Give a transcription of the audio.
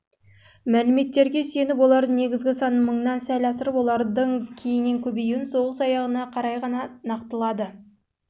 мәліметтерге сүйеніп олардың негізгі санын мыңнан сәл асырып олардың кейіннен көбеюін соғыс аяғына қарай ғана